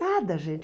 Nada, gente.